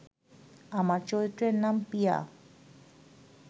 আমার চরিত্রের নাম পিয়া